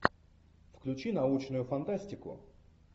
включи научную фантастику